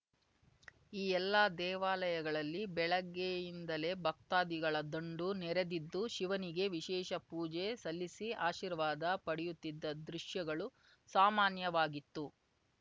ಈ ಎಲ್ಲಾ ದೇವಾಲಯಗಳಲ್ಲಿ ಬೆಳಿಗ್ಗೆಯಿಂದಲೇ ಭಕ್ತಾದಿಗಳ ದಂಡು ನೆರೆದಿದ್ದು ಶಿವನಿಗೆ ವಿಶೇಷ ಪೂಜೆ ಸಲ್ಲಿಸಿ ಆಶೀರ್ವಾದ ಪಡೆಯುತ್ತಿದ್ದ ದೃಶ್ಯಗಳು ಸಾಮಾನ್ಯವಾಗಿತ್ತು